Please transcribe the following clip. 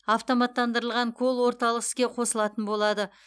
автоматтандырылған колл орталық іске қосылатын болады